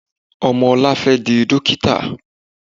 Ọmọ ọlá fẹ́ di dókítà.